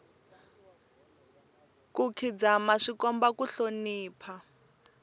ku khidzama swi komba ku hlonipha